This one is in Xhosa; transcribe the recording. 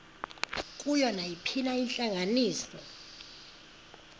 kuyo nayiphina intlanganiso